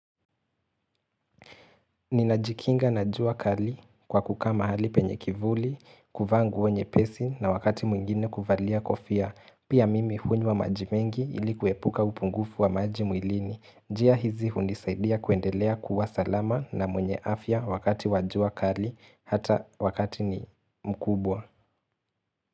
Ninajikinga na jua kali kwa kukaa mahali penye kivuli, kuvaa nguo nyepesi na wakati mwingine kuvalia kofia. Pia mimi hunywa maji mengi ili kuepuka upungufu wa maji mwilini. Njia hizi hunisaidia kuendelea kuwa salama na mwenye afya wakati wa jua kali hata wakati ni mkubwa.